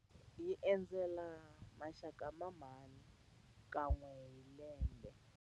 Hi endzela maxaka ya mhani kan'we hi lembe.